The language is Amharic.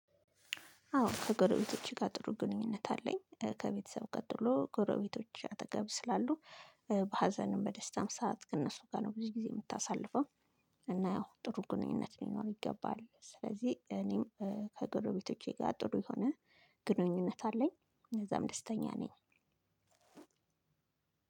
አዎ ከጎረቤቶቼ ጋር ጥሩ ግንኙነት አለኝ ከቤተሰብ ቀጥሎ ጎረቤቶች አጠገብ ስላሉ በሀዘንም በደስታም ሰዓት ከእነሱ ጋ ነው ብዙ ጊዜ የምታሳልፈው። እና ያው ጥሩ ግንኙነት ሊኖር ይገባል ስለዚህ እኔም ከጎረቤቶቼ ጋር ጥሩ የሆነ ግንኙነት አለኝ በዛም ደስተኛ ነኝ።